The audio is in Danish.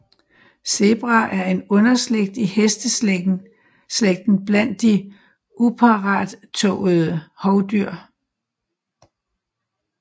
Zebraer er en underslægt i hesteslægten blandt de uparrettåede hovdyr